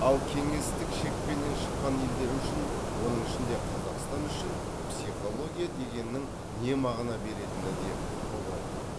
ал кеңестік шекпеннен шыққан елдер үшін оның ішінде қазақстан үшін психология дегеннің не мағына беретіні де бұлыңғыр